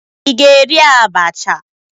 Ị ga-eri abacha?